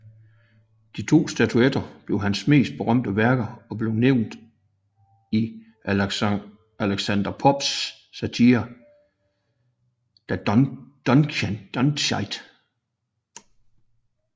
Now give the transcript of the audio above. De to statuer blev hans mest berømte værker og blev nævnt i Alexander Popes satire The Dunciad